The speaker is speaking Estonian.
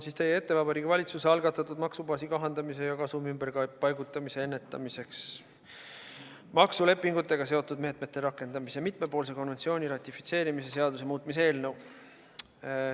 Toon teie ette Vabariigi Valitsuse algatatud maksubaasi kahandamise ja kasumi ümberpaigutamise ennetamiseks maksulepingutega seotud meetmete rakendamise mitmepoolse konventsiooni ratifitseerimise seaduse muutmise eelnõu.